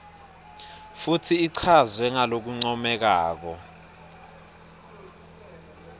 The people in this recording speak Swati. futsi ichazwe ngalokuncomekako